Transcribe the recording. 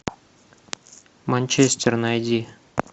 манчестер найди